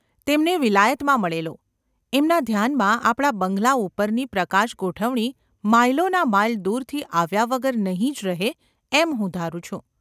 તેમને વિલાયતમાં મળેલો. એમના ધ્યાનમાં આપણા બંગલા ઉપરની પ્રકાશગોઠવણી માઈલોના માઈલ દૂરથી આવ્યા વગર નહિ જ રહે એમ હું ધારું છું.